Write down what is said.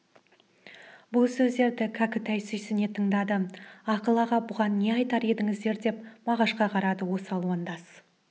бұл сөздерді кәкітай сүйсіне тыңдады ақыл аға бұған не айтар едіңіздер деп мағашқа қарады осы алуандас